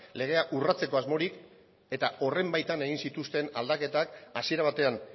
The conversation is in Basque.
legea urratzeko asmorik eta horren baitan egin zituzten aldaketak hasiera batean